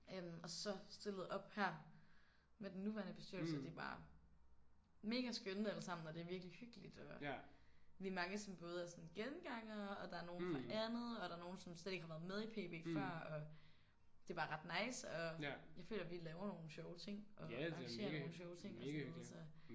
Øh og så stillede op her med den nuværende bestyrelse og de er bare mega skønne alle sammen og det er virkelig hyggeligt. Og vi er mange som både er sådan gengangere og der er nogen fra andet og der er nogen som slet ikke har været med i PB før og det er bare ret nice. Og jeg føler at vi laver nogle sjove ting og arrangerer nogle sjove ting og sådan noget så